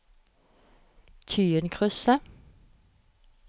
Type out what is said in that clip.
Tyinkrysset